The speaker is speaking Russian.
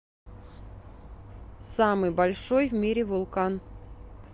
самый большой в мире вулкан